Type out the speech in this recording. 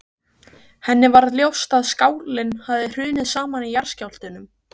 Henni varð ljóst að skálinn hafði hrunið saman í jarðskjálftunum.